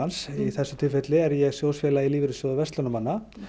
í þessu tilfelli er ég sjóðfélagi í Lífeyrissjóði verslunarmanna